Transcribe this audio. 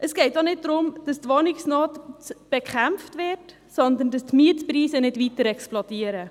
Es geht nicht darum, dass die Wohnungsnot bekämpft wird, sondern dass die Mietpreise nicht weiter explodieren.